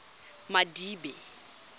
madibe